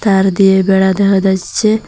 তার দিয়ে বেড়া দেহা যাইচ্চে।